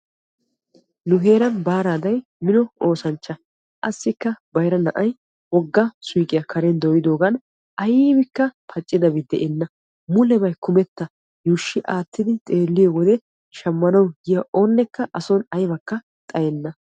Nu heeran baaraday mino oossanchcha. assikka bayra na'ay wogga suuyqiyaa karen dooyidoogan aybikka pacidabi de'enna. mulebay kumetta yuushshi aattidi xeelliyoo wode shammanwu yiyaa asay a soni aybakka xayenna.